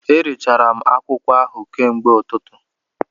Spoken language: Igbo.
Erechara m akwụkwọ ọha ahụ kamgbe ụtụtụ